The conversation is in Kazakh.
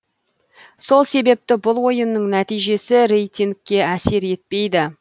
сол себепті бұл ойынның нәтижесі рейтингке әсер етпейді